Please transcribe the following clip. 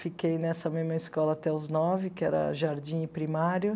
Fiquei nessa mesma escola até os nove, que era jardim e primário.